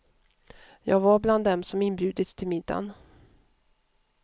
Jag var bland dem som inbjudits till middagen.